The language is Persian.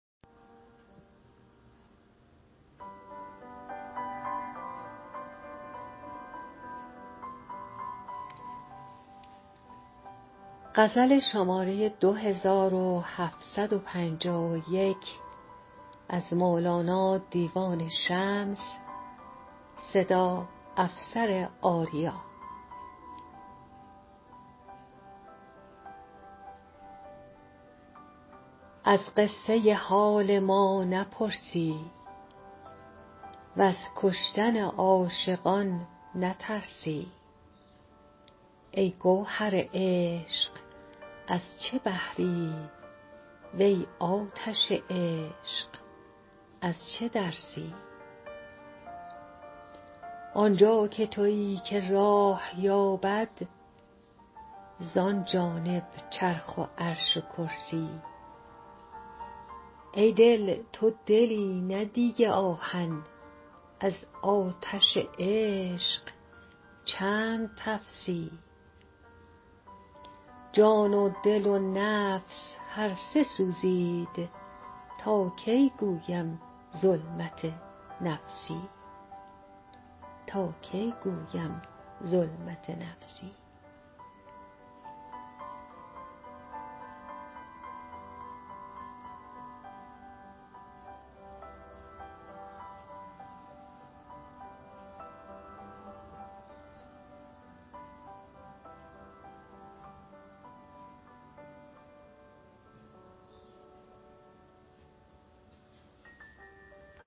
از قصه حال ما نپرسی وز کشتن عاشقان نترسی ای گوهر عشق از چه بحری وی آتش عشق از چه درسی آنجا که توی کی راه یابد زان جانب چرخ و عرش و کرسی ای دل تو دلی نه دیگ آهن از آتش عشق چند تفسی جان و دل و نفس هر سه سوزید تا کی گویم ظلمت نفسی